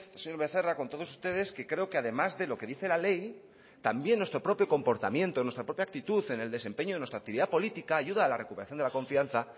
señor becerra con todos ustedes que creo que además de lo que dice la ley también nuestro propio comportamiento nuestra propia actitud en el desempeño de nuestra actividad política ayuda a la recuperación de la confianza